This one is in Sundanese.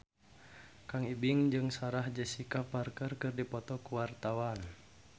Kang Ibing jeung Sarah Jessica Parker keur dipoto ku wartawan